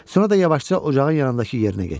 Sonra da yavaşca ocağın yanındakı yerinə getdi.